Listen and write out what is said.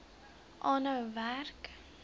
aanhou werk